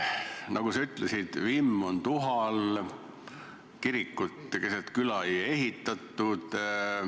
Nagu sa ütlesid, vimm on tuha all, kirikut keset küla ei ehitatud.